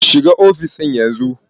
Shiga ofis ɗin yanzu!